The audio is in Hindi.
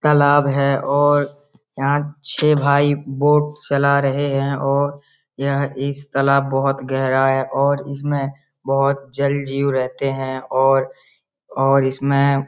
तालाब है और यहाँ छे भाई बोट चला रहे हैं और यह इस तालाब बहुत गहरा है और इसमे बहुत जल-जीव रहते हैं। और और इसमे --